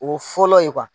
O fɔlɔ ye